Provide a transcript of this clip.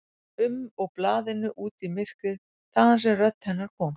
um og blaðinu út í myrkrið, þaðan sem rödd hennar kom.